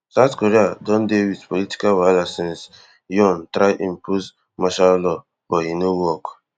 south korea don dey wit political wahala since yon try impose martial law but e no work